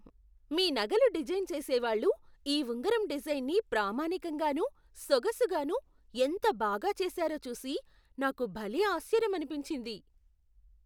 మీ నగలు డిజైన్ చేసేవాళ్ళు ఈ ఉంగరం డిజైన్ని ప్రామాణికంగానూ, సొగసుగానూ ఎంత బాగా చేసారో చూసి నాకు భలే ఆశ్చర్యమనిపించింది.